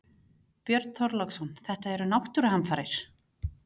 Björn Þorláksson: Þetta eru náttúruhamfarir?